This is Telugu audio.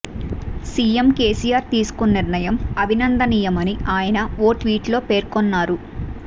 సీఎం కేసీఆర్ తీసుకున్న నిర్ణయం అభినందనీయమని ఆయన ఓ ట్వీట్లో పేర్కొన్నారు